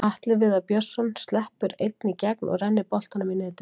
Atli Viðar Björnsson sleppur einn í gegn og rennir boltanum í netið.